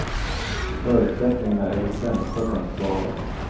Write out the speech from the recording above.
Förutsättningarna är de sämsta tänkbara.